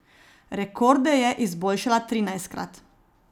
Rekorde je izboljšala trinajstkrat.